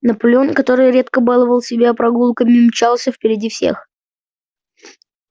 наполеон который редко баловал себя прогулками мчался впереди всех